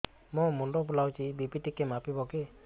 ମୋ ମୁଣ୍ଡ ବୁଲାଉଛି ବି.ପି ଟିକିଏ ମାପିବ କି